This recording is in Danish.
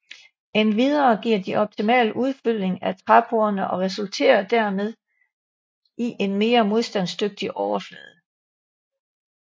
Endvidere giver de optimal udfyldning af træporerne og resulterer derved i en mere modstandsdygtig overflade